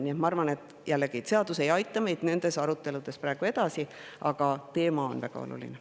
Nii et ma arvan, et see seadus ei aita meid nendes aruteludes praegu edasi, aga teema on väga oluline.